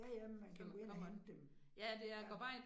Ja ja, men man kan gå ind og hente dem. Ja